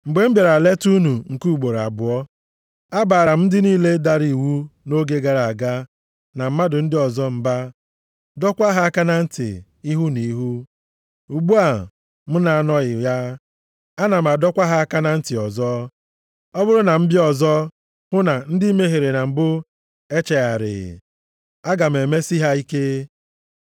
Mgbe m bịara leta unu nke ugboro abụọ, abaara m ndị niile dara iwu nʼoge gara aga na mmadụ ndị ọzọ mba, dọọkwa ha aka na ntị, ihu na ihu. Ugbu a m na-anọghị ya, ana m adọkwa ha aka na ntị ọzọ, ọ bụrụ na m bịa ọzọ hụ na ndị mehiere na mbụ echegharịghị, aga m emesi ha ike.